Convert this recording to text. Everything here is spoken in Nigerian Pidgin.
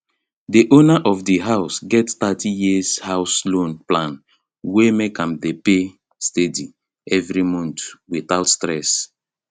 di owner of di house get 30year house loan plan wey make am dey pay steady every month without stress